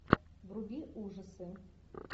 вруби ужасы